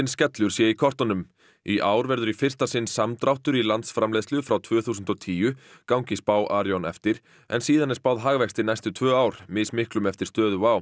skellur sé í kortunum í ár verður í fyrsta sinn samdráttur í landsframleiðslu frá tvö þúsund og tíu gangi spá Arion eftir en síðan er spáð hagvexti næstu tvö ár mismiklum eftir stöðu